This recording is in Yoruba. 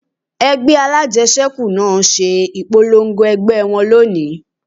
Ẹgbẹ́ alájẹsẹ́kù náà ṣe ìpolongo ẹgbẹ́ wọn lónìí